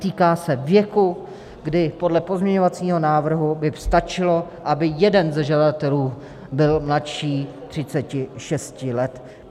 Týká se věku, kdy podle pozměňovacího návrhu by stačilo, aby jeden ze žadatelů byl mladší 36 let.